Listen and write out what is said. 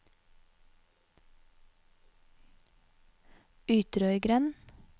Ytrøygrend